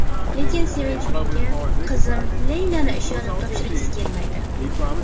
Lekin Sevinch menga qizim Leylani ishonib topshirgisi kelmaydi.